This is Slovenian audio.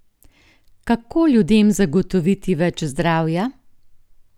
Kako ljudem zagotoviti več zdravja?